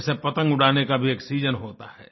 जैसे पतंग उड़ाने का भी एक सीजन होता है